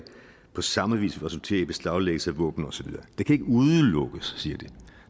på samme vis vil resultere i beslaglæggelse af våben og så videre det kan ikke udelukkes siger de